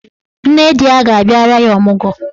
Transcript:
Nne di ya ga-abịara ya ọmụgwọ.